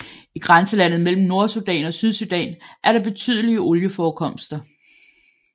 I grænselandet mellem Nordsudan og Sydsudan er der betydelige olieforekomster